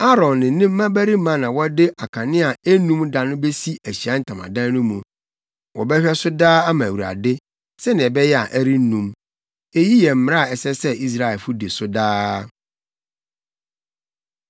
Aaron ne ne mmabarima na wɔde akanea a ennum da no besi Ahyiae Ntamadan no mu. Wɔbɛhwɛ so daa ama Awurade, sɛnea ɛbɛyɛ a ɛrennum. Eyi yɛ mmara a ɛsɛ sɛ Israelfo di so daa.